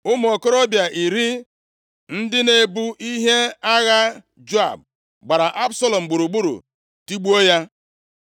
Ụmụ okorobịa iri ndị na-ebu ihe agha Joab gbara Absalọm gburugburu, tigbuo ya.